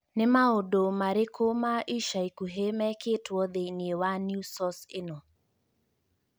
Nĩ maũndũ marĩkũ ma ica ikuhĩ mekĩtwo thĩinĩ wa newsource ĩno?